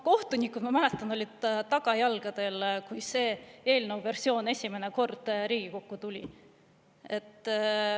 Kohtunikud, ma mäletan, olid tagajalgadel, kui see eelnõu versioon esimene kord Riigikokku tuli.